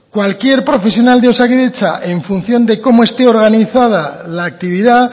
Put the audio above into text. cualquier profesional de osakidetza en función de cómo este organizada la actividad